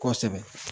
Kosɛbɛ